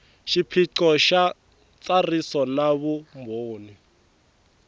xiphiqo xa ntsariso na vumbhoni